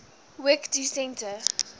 work to centre